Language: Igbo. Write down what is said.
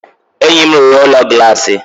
Enyi m rụrụ Ụlọ Glassi